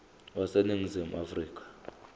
wase ningizimu afrika